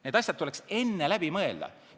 Need asjad tuleks enne läbi mõelda.